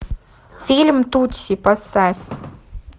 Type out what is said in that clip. фильм тутси поставь